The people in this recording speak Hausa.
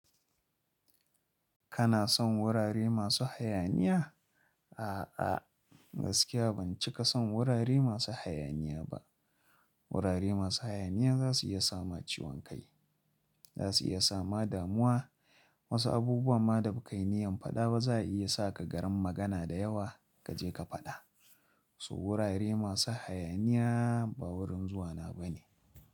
Kana son wurare masu hayaniya? A'a, gaskiya ban cika son wurare masu hayaniya ba. Wurare masu hayaniya za su iya sama ciwon kai, za su iya sama damuwa. Wasu abubuwan ma da ba ka yi niyyar faɗa ba za a iya sa ka garin magana da yawa ka je ka faɗa. So wurare masu hayaniya ba wurin zuwa na ba ne.